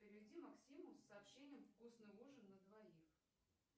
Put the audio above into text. переведи максиму с сообщением вкусный ужин на двоих